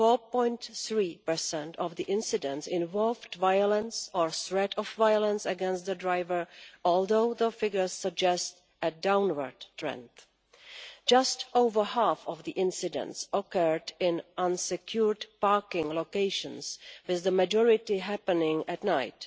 4.3 of the incidents involved violence or threat of violence against the driver, although the figures suggest a downward trend. Just over half of the incidents occurred in unsecured parking locations, with the majority happening at night.